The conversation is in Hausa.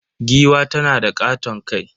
Giwa tanada katon kai.